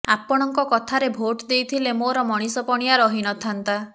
ଆପଣଙ୍କ କଥାରେ ଭୋଟ ଦେଇଥିଲେ ମୋର ମଣିଷ ପଣିଆ ରହିନଥାନ୍ତା